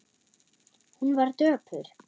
Hún var döpur.